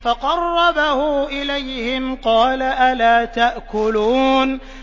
فَقَرَّبَهُ إِلَيْهِمْ قَالَ أَلَا تَأْكُلُونَ